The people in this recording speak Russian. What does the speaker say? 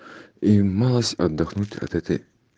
и малость отдохнуть от этой